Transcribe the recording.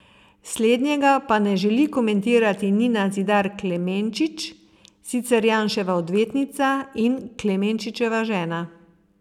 Slednjega pa ne želi komentirati Nina Zidar Klemenčič, sicer Janševa odvetnica in Klemenčičeva žena.